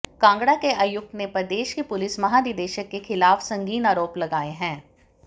कांगड़ा के आयुक्त ने प्रदेश के पुलिस महानिदेशक के खिलाफ संगीन आरोप लगाए हंै